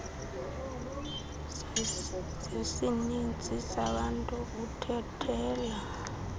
zesininzi sabantu uthathela